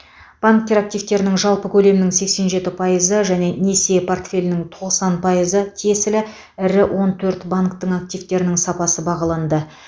банктер активтерінің жалпы көлемінің сексен жеті пайызы және несие портфелінің тоқсан пайызы тиесілі ірі он төрт банктің активтерінің сапасы бағаланды